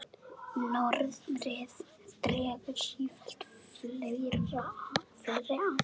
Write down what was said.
Norðrið dregur sífellt fleiri að.